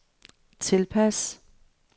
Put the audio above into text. tilpas